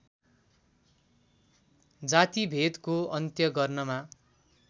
जातिभेदको अन्त्य गर्नमा